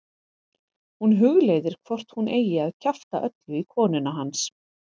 Hún hugleiðir hvort hún eigi að kjafta öllu í konuna hans.